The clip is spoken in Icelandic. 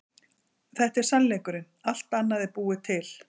Þetta er sannleikurinn, allt annað er búið til.